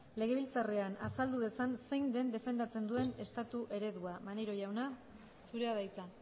legebiltzarrean azaldu dezan zein den defendatzen duen estatu eredua maneiro jauna zurea da hitza